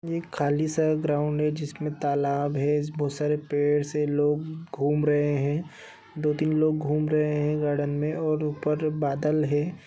खाली सा ग्राउंड है जिसमे तालाब है बहोत सारे पड़े से लोग घूम रहे है दो-तीन लोग घूम रहे है गार्डन में और उपर बादल है।